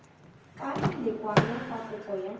ka lekwalo fa kopo ya